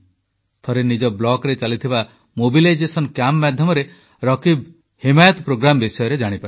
ଥରେ ନିଜ ବ୍ଲକରେ ଚାଲିଥିବା ସଚେତନତା ଶିବିର ମାଧ୍ୟମରେ ରକୀବ ହିମାୟତ ପ୍ରୋଗ୍ରାମ ବିଷୟରେ ଜାଣିପାରିଲେ